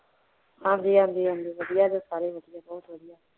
ਹਾਂਜੀ ਹਾਂਜੀ ਹਾਂਜੀ ਵਧੀਆ ਨੇ ਸਾਰੇ